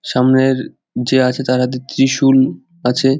সামনের যে আছে তার হাতে ত্রিশুল আছে।